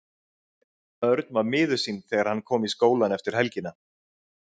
Örn var miður sín þegar hann kom í skólann eftir helgina.